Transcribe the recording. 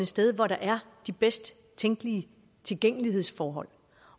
sted hvor der er de bedst tænkelige tilgængelighedsforhold